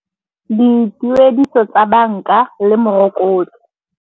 Dituediso tsa banka le morokotso.